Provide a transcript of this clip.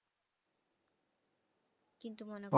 কিন্তু মনে